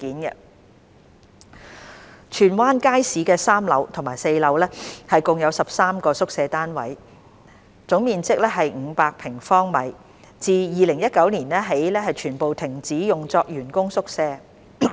二荃灣街市的3樓和4樓共有13個宿舍單位，總面積約為500平方米，自2019年起全部停止用作員工宿舍。